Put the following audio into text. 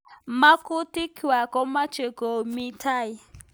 Makutik kwaak komeche koek mi tai.